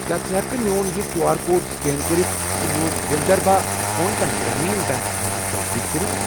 کیٛاہ ژٕ ہٮ۪کہٕ کھہ میون یہِ کیوٗ آر کوڈ سکین کٔرِتھ تہٕ میون وِلدھربھا کونکَن گرٛامیٖن بیٚنٛک اکاونٹٕچ تصدیق کٔرِتھ؟